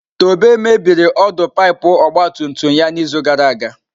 Tobe mebiri ọdụ pipu ọgba tum tum ya n'izu gara aga.